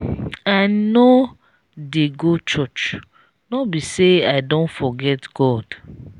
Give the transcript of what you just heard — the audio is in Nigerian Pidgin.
i know dey go church no be say i don forget god